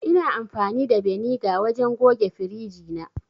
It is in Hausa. Ina amfani da beniga wajen goge firiji na